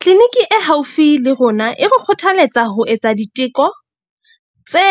Clinic-i e haufi le rona e re kgothaletsa ho etsa diteko tse